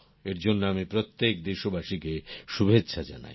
এর জন্য আমি প্রত্যেক দেশবাসীকে শুভেচ্ছা জানাই